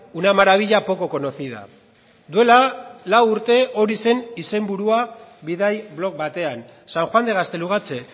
una maravilla poco conocida duela lau urte hori zen izenburua bidai blog batean san juan de gaztelugatxe